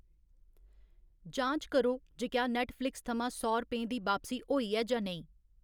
जांच करो जे क्या नैट्टफ्लिक्स थमां सौ रपेंऽ दी बापसी होई ऐ जां नेईं।